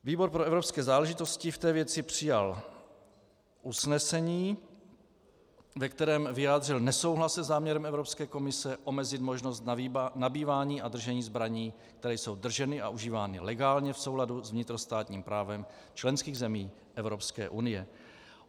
Výbor pro evropské záležitosti v té věci přijal usnesení, ve kterém vyjádřil nesouhlas se záměrem Evropské komise omezit možnost nabývání a držení zbraní, které jsou drženy a užívány legálně v souladu s vnitrostátním právem členských zemí EU.